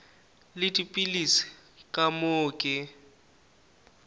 le dipilisi ka moo ke